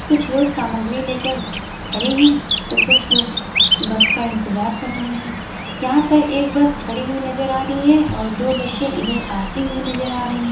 कुछ लोग सामग्री लेकर खड़े हैं तो कुछ लोग बस का इंतज़ार कर रहे हैं यहाँ पर एक बस खाड़ी हुई है नज़र आ रही है तो दो बसे इधर आते हुए नज़र रही हैं।